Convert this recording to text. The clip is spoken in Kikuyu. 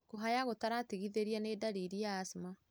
Kũhaya gũtaratigithĩria nĩ ndariri ya asthma.